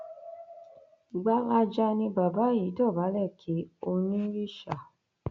gbalaja ni bàbá yìí dọbálẹ kí oonírìṣà